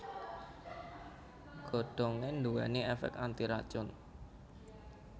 Godhongé nduwèni èfèk antiracun